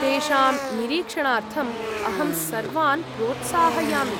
तेषां निरीक्षणार्थम्‌ अहं सर्वान् प्रोत्साहयामि।